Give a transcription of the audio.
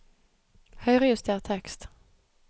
Høyrejuster tekst